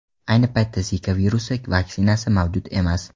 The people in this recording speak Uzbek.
Ayni paytda Zika virusi vaksinasi mavjud emas.